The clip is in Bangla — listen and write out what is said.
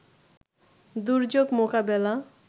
দুর্যোগ মোকাবেলা